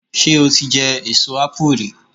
Ṣé o ti jẹ èso ápù rí?